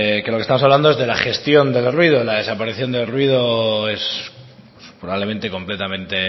de lo que estamos hablando es de la gestión del ruido la desaparición del ruido probablemente es completamente